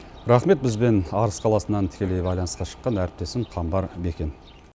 рақмет бізбен арыс қаласынан тікелей байланысқа шыққан әріптесім қамбар бекен